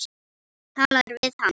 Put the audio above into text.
Talar við hann.